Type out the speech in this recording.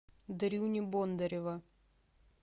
дрюни бондарева